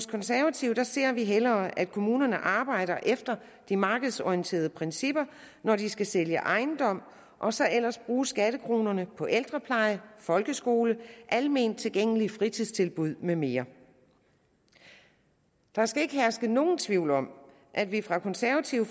konservative ser vi hellere at kommunerne arbejder efter de markedsorienterede principper når de skal sælge ejendom og så ellers bruge skattekronerne på ældrepleje folkeskole og alment tilgængelige fritidstilbud med mere der skal ikke herske nogen tvivl om at vi fra det konservative